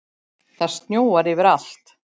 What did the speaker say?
Það snjóar yfir allt.